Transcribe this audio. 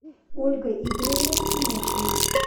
ольга игоревна тимошина